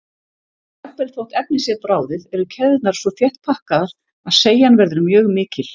Jafnvel þótt efnið sé bráðið eru keðjurnar svo þétt pakkaðar að seigjan verður mjög mikil.